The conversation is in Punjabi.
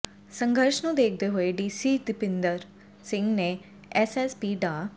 ਸੰਘਰਸ਼ ਨੂੰ ਦੇਖਦੇ ਹੋਏ ਡੀਸੀ ਦੀਪਇੰਦਰ ਸਿੰਘ ਤੇ ਐਸਐਸਪੀ ਡਾ